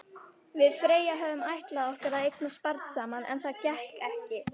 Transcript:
Við Freyja höfðum ætlað okkur að eignast barn saman, en það gekk ekki.